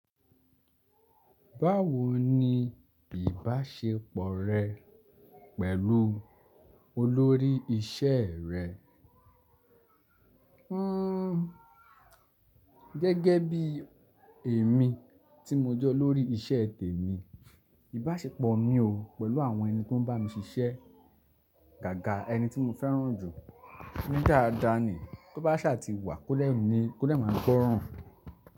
Báwo ni ìbáṣepọ̀ rẹ pẹ̀lú olórí iṣẹ́ rẹ? Hmm gẹ́gẹ́ bí èmi tí mo jẹ́ olórí iṣẹ́ tèmi, ìbáṣepọ̀ mi o pẹ̀lú àwọn ẹni tó ń bá mi ṣiṣẹ́, gáàga ẹni tí mo fẹ́ràn jù ní daada ni. Tó bá sà ti wà, kó dè máa gbọ́ràn.